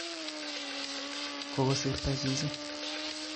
Kokosirto chichi